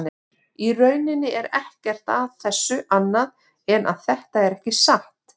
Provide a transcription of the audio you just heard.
Í rauninni er ekkert að þessu annað en að þetta er ekki satt.